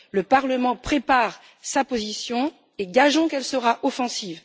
Le Parlement prépare sa position et gageons qu'elle sera offensive.